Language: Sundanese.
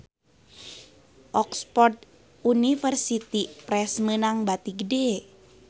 Oxford University Press meunang bati gede